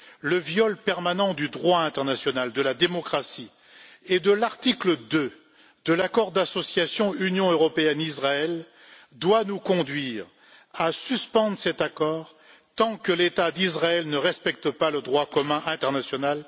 Le viol permanent du droit international, de la démocratie et de l'article 2 de l'accord d'association UE Israël doit nous conduire à suspendre cet accord tant que l'État d'Israël ne respecte pas le droit commun international.